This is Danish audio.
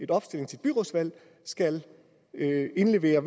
opstilling til byrådsvalg skal indlevere